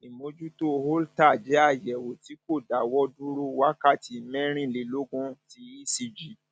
ìmójútó holter jẹ àyẹwò tí kò dáwọ dúró wákàtí mẹrìnlélógún ti ecg